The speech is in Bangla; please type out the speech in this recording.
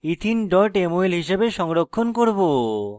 ethene mol হিসাবে সংরক্ষণ করব